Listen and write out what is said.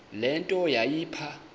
le nto yayipha